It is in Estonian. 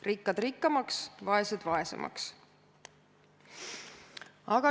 Rikkad rikkamaks, vaesed vaesemaks!